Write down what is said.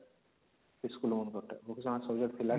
ସେ school ମାନଙ୍କର ଟା vocational subject ଥିଲା କି